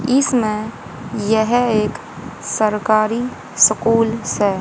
इसमें यह एक सरकारी स्कूल से ।